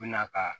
U bɛ na ka